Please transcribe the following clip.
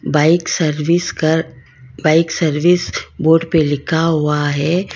Bike service कर bike service board पे लिखा हुआ है।